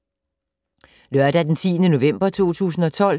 Lørdag d. 10. november 2012